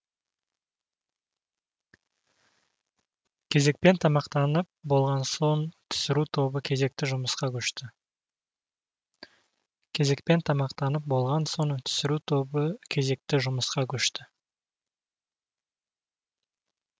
кезекпен тамақтанып болған соң түсіру тобы кезекті жұмысқа көшті